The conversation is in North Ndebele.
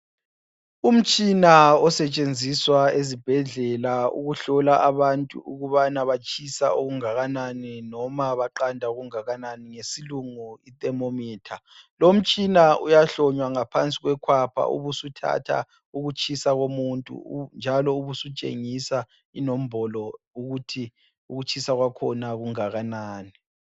Umtshina osetshenziswa ezibhedlela ukuhlola abantu ukubana batshisa okungakanani noma baqanda okungakanani ngesilungu yithermometer. Lo mtshina uyahlonywa ngaphansi kwekhapha ubusuthatha ukutshisa komuntu njalo ubusutshengisa inombolo ukuthi ukutshisa kwakhona kungakanani.